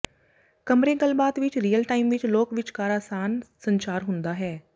ਕਮਰੇ ਗੱਲਬਾਤ ਵਿੱਚ ਰੀਅਲ ਟਾਈਮ ਵਿੱਚ ਲੋਕ ਵਿਚਕਾਰ ਆਸਾਨ ਸੰਚਾਰ ਹੁੰਦਾ ਹੈ